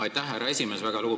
Aitäh, härra esimees!